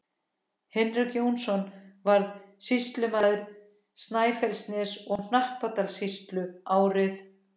Hinrik Jónsson varð sýslumaður Snæfellsness- og Hnappadalssýslu árið